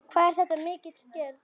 Hvað er þetta mikil aðgerð?